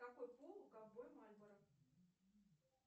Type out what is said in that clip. какой пол у ковбоя мальборо